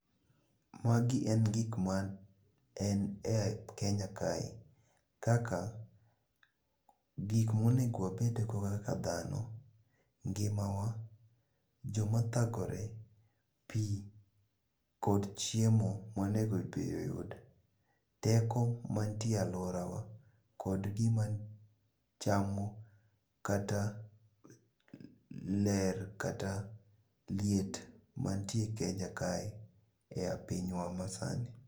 Magi en gikma en e Kenya kae, kaka gik monego wabedgo kaka dhano, ngima wa, joma thagore, pii kod chiemo monego ji oyud. Teko mantie e alwora wa, kod gima chamo kata ler kata liet mantie e Kenya kae e pinywa ma sani.